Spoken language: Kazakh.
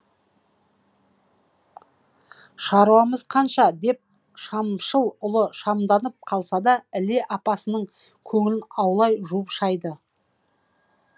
шаруамыз қанша деп шамшыл ұлы шамданып қалса да іле апасының көңілін аулай жуып шайды